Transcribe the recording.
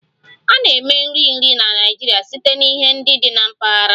A na-eme nri nri na Naịjirịa site na ihe ndị dị na mpaghara